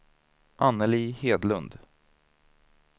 Annelie Hedlund